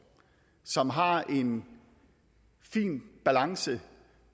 som har en fin balance